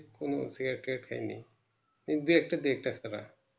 কোনো Beer টিয়ের খাইনি দেখতাছেন